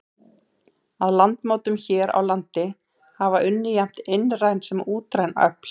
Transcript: Að landmótun hér á landi hafa unnið jafnt innræn sem útræn öfl.